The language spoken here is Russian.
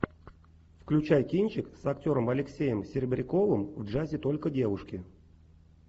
включай кинчик с актером алексеем серебряковым в джазе только девушки